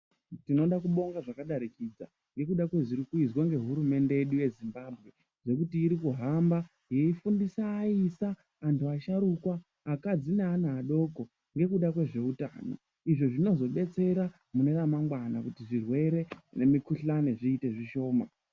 Ndinoda kubonga zvakadarikidza nezviri kuitwa nehurumende yedu yezimbabwe nekuti iri kuhamba veifundisa vaisa vahtu vasharukwa neana adoko nekuda kwezvihehutano izvi zvinotodetsera mune ramangwana kuti zvirwere nemikuhlani zviite zvishoma.